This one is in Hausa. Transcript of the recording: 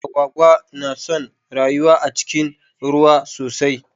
Agwagwa na son rayuwa a cikin ruwa sosai.